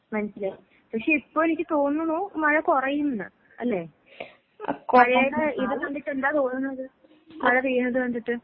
മനസ്സിലായി. പക്ഷെ ഇപ്പൊ എനിക്ക് തോന്നുന്നു മഴ കൊറയുംന്ന്, അല്ലേ? അ ഇത് കണ്ടിട്ടെന്താ തോന്നുന്നത്? മഴ പെയ്യുന്നത് കണ്ടിട്ട്.